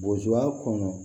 Bozoya kɔnɔ